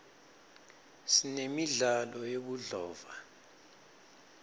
sinemidlalo yebudlova